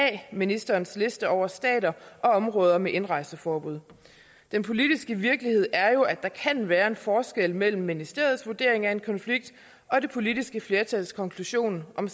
af ministerens liste over stater og områder med indrejseforbud den politiske virkelighed er jo at der kan være en forskel mellem ministeriets vurdering af en konflikt og det politiske flertals konklusion om